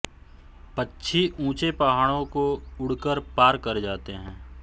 पक्षी ऊँचे पहाडों को उड़ कर पार कर जाते हैं